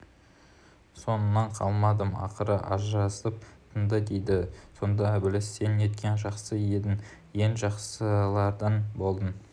соңынан қалмадым ақыры ажырасып тынды дейді сонда ібіліс сен неткен жақсы едің ең жақсылардан болдың